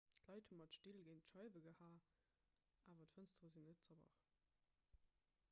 d'leit hu mat still géint d'scheiwe gehaen awer d'fënstere sinn net zerbrach